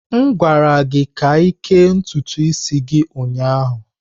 M gwara gị ka kee ntutu gị ụnyaahụ!